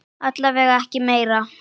Alla vega ekki meir.